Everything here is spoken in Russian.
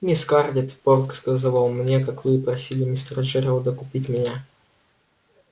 мисс скарлетт порк сказывал мне как вы просили мистера джералда купить меня